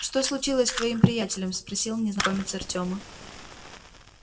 что случилось с твоим приятелем спросил незнакомец артема